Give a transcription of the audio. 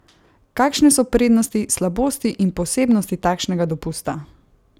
Kakšne so prednosti, slabosti in posebnosti takšnega dopusta?